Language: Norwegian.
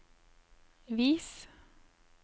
vis